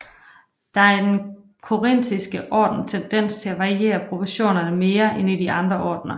Der er i den korintiske orden tendens til at variere proportionerne mere end i de andre ordner